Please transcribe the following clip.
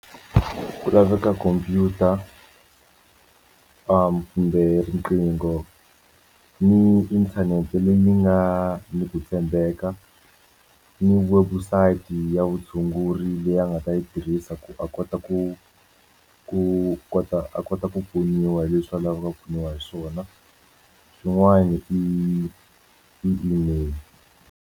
Ku laveka computer kumbe riqingho ni inthanete leyi mi nga ni ku tshembeka ni webusayiti ya vutshunguri leyi a nga ta yi tirhisa ku a kota ku ku kota a kota ku pfuniwa hi leswi a lavaka ku pfuniwa hi swona xin'wana i email.